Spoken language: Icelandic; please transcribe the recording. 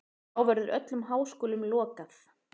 Þá verður öllum háskólum lokað.